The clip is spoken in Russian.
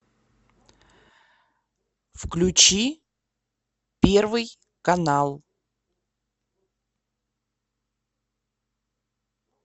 включи первый канал